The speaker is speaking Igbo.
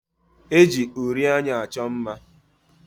E ji uri anya achọ mma.